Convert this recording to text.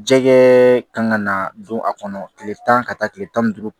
Jɛgɛ kan ka na don a kɔnɔ tile tan ka taa tile tan ni duuru